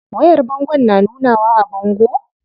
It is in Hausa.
Wayar bangon na nunawa a bango?